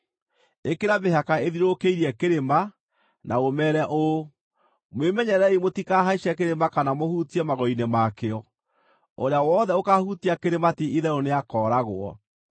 Ĩkĩra mĩhaka ĩthiũrũrũkĩrie kĩrĩma, na ũmeere ũũ, ‘Mwĩmenyererei mũtikahaice kĩrĩma kana mũhutie magũrũ-inĩ ma kĩo. Ũrĩa wothe ũkaahutia kĩrĩma ti-itherũ nĩakooragwo.